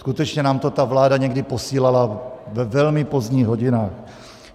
Skutečně nám to ta vláda někdy posílala ve velmi pozdních hodinách.